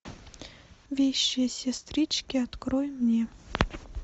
вещие сестрички открой мне